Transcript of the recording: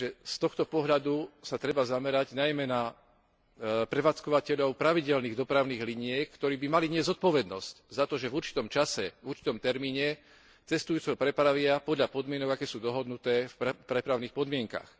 Z tohto pohľadu sa treba zamerať najmä na prevádzkovateľov pravidelných dopravných liniek, ktorí by mali niesť zodpovednosť za to, že v určitom čase, v určitom termíne cestujúceho prepravia podľa podmienok, aké sú dohodnuté v prepravných podmienkach.